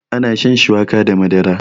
ana shan shuwaka da Madara